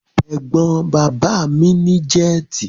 Ẹ̀gbọ́n bàbá mi ní jẹ́tì.